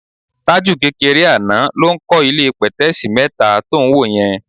Tájù kékeré àná ló ń kọ́ ilé pẹ̀tẹ́ẹ̀sì mẹ́ta tó ń wò yẹn.